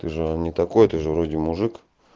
ты же не такой ты же вроде мужик